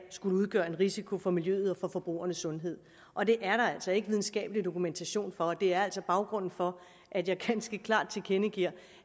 skulle udgøre en risiko for miljøet og for forbrugernes sundhed og det er der altså ikke videnskabelig dokumentation for det er baggrunden for at jeg ganske klart tilkendegiver